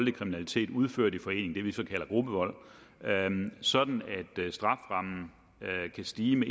kriminalitet udført i forening det vi kalder gruppevold sådan at strafferammen kan stige med